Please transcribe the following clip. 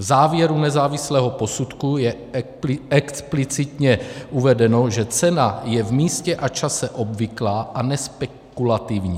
V závěru nezávislého posudku je explicitně uvedeno, že cena je v místě a čase obvyklá a nespekulativní.